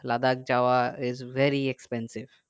লাদাখ যাওয়া is very expensive